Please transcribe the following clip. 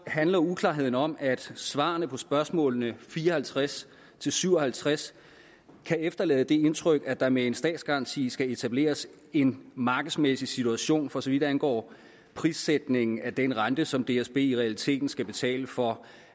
handler uklarheden om at svarene på spørgsmålene fire og halvtreds til syv og halvtreds kan efterlade det indtryk at der med en statsgaranti skal etableres en markedsmæssig situation for så vidt angår prissætningen af den rente som dsb i realiteten skal betale for